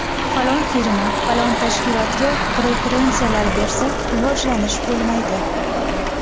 Falon firma, falon tashkilotga preferensiyalar bersak, rivojlanish bo‘lmaydi.